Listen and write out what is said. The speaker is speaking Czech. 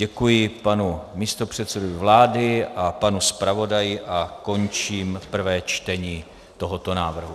Děkuji panu místopředsedovi vlády a panu zpravodaji a končím prvé čtení tohoto návrhu.